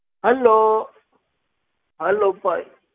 Hello hello Bhai.